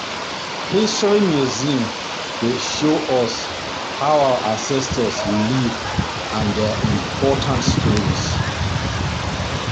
History museum dey show us how our ancestors live and their important stories.